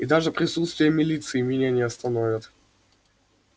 и даже присутствие милиции меня не остановят